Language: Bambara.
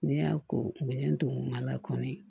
Ne y'a ko minɛn don a la kɔni